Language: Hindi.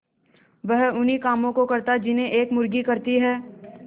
वह उन्ही कामों को करता जिन्हें एक मुर्गी करती है